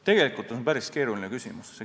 Tegelikult on see päris keeruline küsimus.